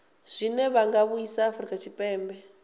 zwine zwa vhanga vhusai afurika tshipembe